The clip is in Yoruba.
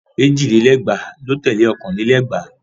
Èjì lé lẹ́gbàá ló tẹ̀lé ọ̀kàn lé lẹ́gbàá.